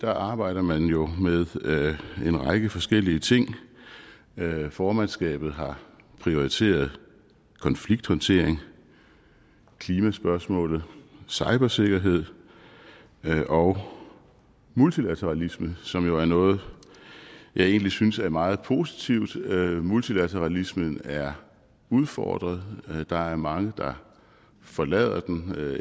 arbejder man jo med en række forskellige ting formandskabet har prioriteret konflikthåndtering klimaspørgsmålet cybersikkerhed og multilateralisme som jo er noget jeg egentlig synes er meget positivt multilateralismen er udfordret der er mange der forlader den